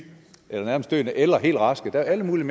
nærmest døende eller helt raske der er alle mulige